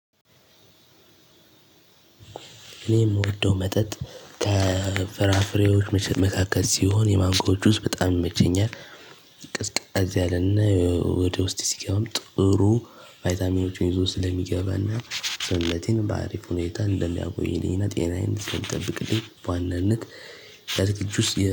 እኔ የምወደው መጠጥ ከፍራፍሬዎች መቼም መካከል ሲሆን የማንጎ ጁስ በጣም ይመቸኛል። ቀዝቀዝ ያለና ወደ ውስጤ ሲገባም ጥሩ ቫይታሚኖችን ይዞ ስለሚገባና ሰውነቴን በአሪፍ ሁኔታ እንደሚያውቁኝ ሌሊና ጤናዬን ስለሚጠብቅልኝ በዋናነት የአትክልት ጁስ